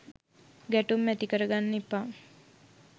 ගැටුම් ඇති කරගන්න එපා